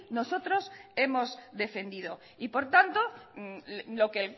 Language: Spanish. nosotros hemos defendido y por tanto lo que